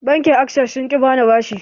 Bankin access sun ƙi bani bashin